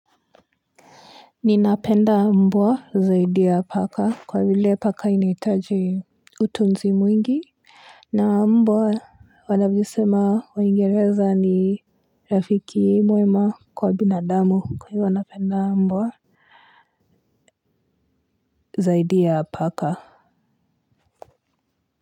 Ninapenda mbwa zaidi ya paka. Kwa vile paka inahitaji utunzi mwingi. Na mbwa wanavyosema waingereza ni rafiki mwema kwa binadamu kwa hivyo napenda mbwa zaidi ya paka.